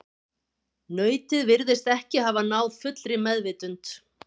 Nautið virtist ekki hafa náð fullri meðvitund.